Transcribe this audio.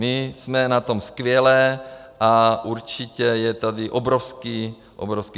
My jsme na tom skvěle a určitě je tady obrovský prostor.